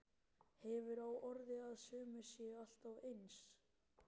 Hefur á orði að sumir séu alltaf eins.